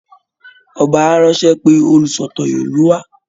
Ọba á ránṣẹ́ pe olùsọ̀tàn ìlú wa